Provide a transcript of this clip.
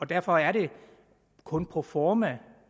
derfor er det kun proforma